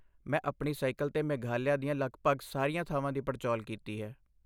ਮੈਂ ਆਪਣੀ ਸਾਈਕਲ 'ਤੇ ਮੇਘਾਲਿਆ ਦੀਆਂ ਲਗਭਗ ਸਾਰੀਆਂ ਥਾਵਾਂ ਦੀ ਪੜਚੋਲ ਕੀਤੀ ਹੈ।